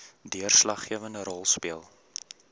deurslaggewende rol speel